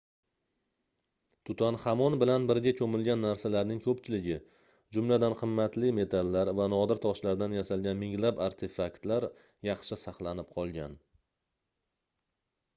tutanxamon bilan birga koʻmilgan narsalarning koʻpchiligi jumladan qimmatli metallar va nodir toshlardan yasalgan minglab artefaktlar yaxshi saqlanib qolgan